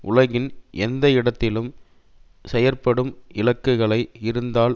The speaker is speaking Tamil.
உலகின் எந்த இடத்திலும் செயற்படும் இலக்குகளை இருந்தால்